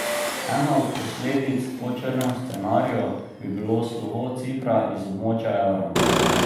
Ena od posledic po črnem scenariju bi bilo slovo Cipra iz območja evra.